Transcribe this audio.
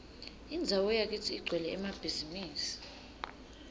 indzawo yakitsi igcwele emabhizimisi